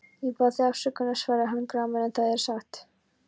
Ég bað þig afsökunar, svaraði hann gramur,-en það er satt.